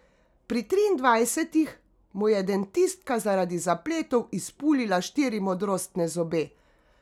Pri triindvajsetih mu je dentistka zaradi zapletov izpulila štiri modrostne zobe.